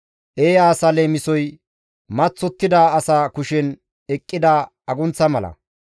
Eeya asa leemisoy maththottida asa kushen eqqida agunththa mala.